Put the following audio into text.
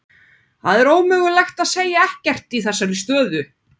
Það er ómögulegt að segja ekkert í þessari stöðu.